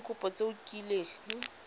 ka dikopo tse o kileng